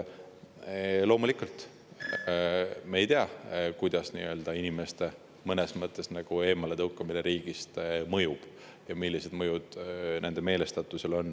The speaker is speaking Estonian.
Loomulikult me ei tea, kuidas inimeste mõnes mõttes eemaletõukamine riigist mõjub, milline on selle mõju nende meelestatusele.